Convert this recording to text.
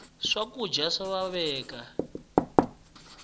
swa kudya swa xaveka